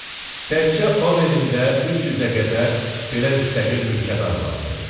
Təkcə Overində 300-ə qədər belə müstəqil mülkədar vardı.